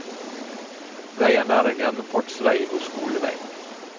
Veien er en gjennomfartsvei og skolevei.